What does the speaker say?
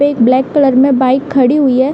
एक black colour में bike खड़ी हुई है।